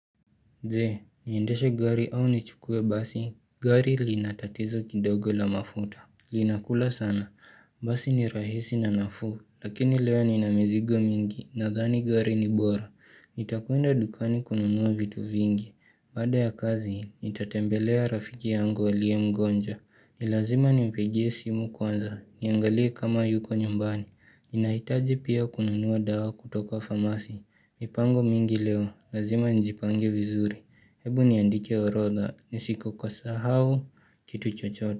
Je, niendeshe gari au nichukue basi, gari linatatizo kidogo la mafuta, linakula sana, basi ni rahisi na nafuu, lakini leo nina mizigo mingi, nadhani gari ni bora Nitakwenda dukani kununua vitu vingi, baada ya kazi, itatembelea rafiki yangu alie mgonjwa, ni lazima ni mpigie simu kwanza, niangalie kama yuko nyumbani. Ninahitaji pia kununuwa dawa kutoka pharmacy, mipango mingi leo, lazima nijipange vizuri. Hebu niandike orodha, nisikokasahau kitu chochote.